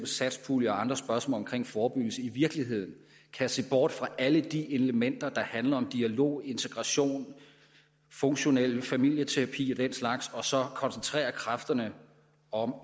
satspulje og andre spørgsmål omkring forebyggelse i virkeligheden kan se bort fra alle de elementer der handler om dialog integration funktionel familieterapi og den slags og så koncentrere kræfterne om